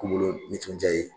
Kunkolo ni tunjan ye